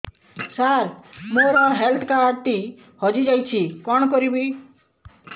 ସାର ମୋର health card ଟି ହଜି ଯାଇଛି କଣ କରିବି